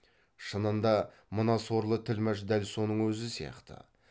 шынында мына сорлы тілмәш дәл соның өзі сияқты